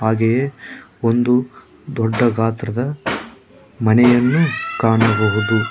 ಹಾಗೆಯೇ ಒಂದು ದೊಡ್ಡ ಗಾತ್ರದ ಮನೆಯನ್ನು ಕಾಣಬಹುದು.